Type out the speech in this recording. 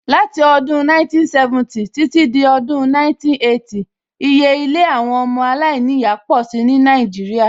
Láti odún 1970 títí dé Odùn 1980, iye ilé àwọn ọmọ alainiya pọ̀ si ní Nàìjíríà